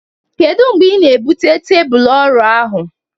Kedu mgbe ị na-ebute tebụl ọrụ ahụ?